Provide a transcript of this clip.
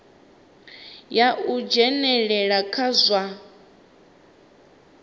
ya u dzhenelela kha zwa